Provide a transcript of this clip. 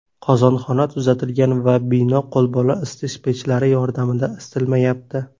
Qozonxona tuzatilgan va bino qo‘lbola isitish pechlari yordamida isitilmayapti.